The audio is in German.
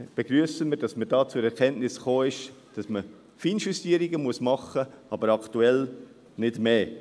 Wir begrüssen, dass man zur Erkenntnis gekommen ist, dass man Feinjustierungen machen muss, aktuell aber nicht mehr.